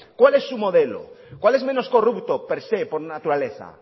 cuál es su modelo cuál es menos corrupto per se por naturaleza